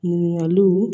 Ɲininkaliw